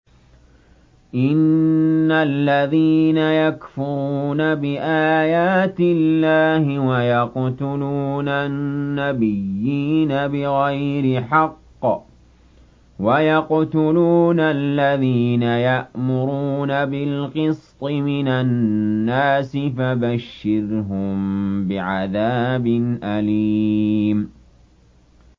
إِنَّ الَّذِينَ يَكْفُرُونَ بِآيَاتِ اللَّهِ وَيَقْتُلُونَ النَّبِيِّينَ بِغَيْرِ حَقٍّ وَيَقْتُلُونَ الَّذِينَ يَأْمُرُونَ بِالْقِسْطِ مِنَ النَّاسِ فَبَشِّرْهُم بِعَذَابٍ أَلِيمٍ